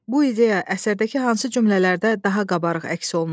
Bu ideya əsərdəki hansı cümlələrdə daha qabarıq əks olunub?